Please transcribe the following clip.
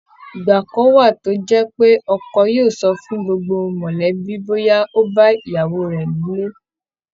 ìgbà kan wà tó jẹ́ pé ọkọ yóò sọ fún gbogbo mọ̀lẹ́bí bóyá ó bá ìyàwó rẹ̀ nílé